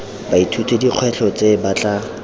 baithuti dikgwetlho tse ba tla